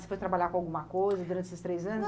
Você foi trabalhar com alguma coisa durante esses três anos?